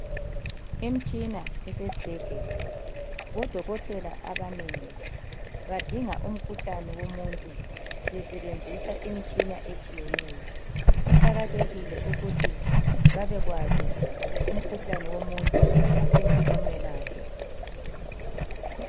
Imitshina esesibhedlela, odokotela abanengi badinga umkhuhlane womuntu besebenzisa imtshina etshiyeneyo. Kuqakathekile ukuthi babekwazi umkhuhlane womuntu bengakamelaphi.